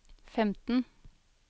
femten